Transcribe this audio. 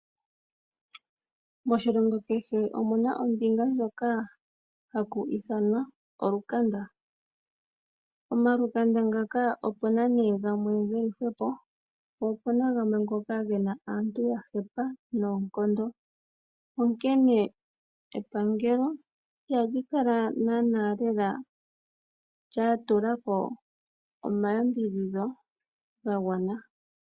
Moshilongo kehe omu na oshitopolwa sho ka ha shi ithanwa olukanda. Omalukanda ngaaka o pu na gamwe ge li hwepo, nagamwe oge na aantu ya hepa noonkondo, nepangelo iha li tu la ko omayambidhidho ga gwana.